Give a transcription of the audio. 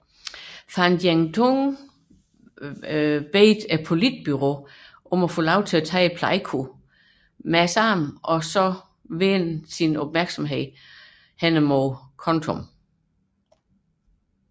Van Tieng Dung bad politbureauet om lov til at tage Pleiku med det samme og derefter vende opmærksomheden mod Kontum